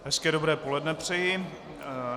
Hezké dobré poledne přeji.